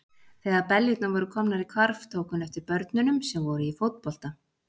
Þegar beljurnar voru komnar í hvarf, tók hún eftir börnunum sem voru í fótbolta.